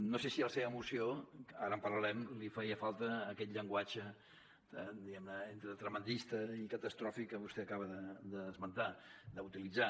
no sé si a la seva moció ara en parlarem li feia falta aquest llenguatge diguem ne entre tremendista i catastròfic que vostè acaba d’esmentar d’utilitzar